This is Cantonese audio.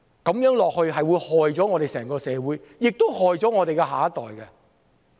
這樣下去，只會連累整個社會，亦連累下一代。